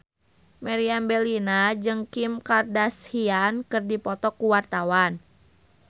Meriam Bellina jeung Kim Kardashian keur dipoto ku wartawan